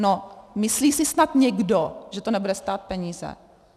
No myslí si snad někdo, že to nebude stát peníze?